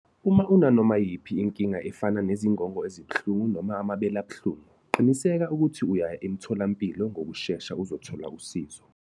Uma unanoma yiyiphi inkinga efana nezingono ezibuhlungu noma amabele abuhlungu, qinisekisa ukuthi uya emtholampilo ngokushesha uzothola usizo.